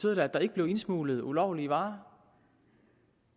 at der ikke blev indsmuglet ulovlige varer